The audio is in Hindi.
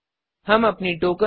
हम अपनी टोकेंस